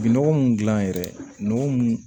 Bi nɔgɔ mun gilan yɛrɛ nɔgɔ mun